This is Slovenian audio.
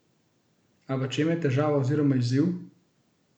A v čem je težava oziroma izziv?